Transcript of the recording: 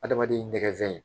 Adamaden nɛgɛzɛn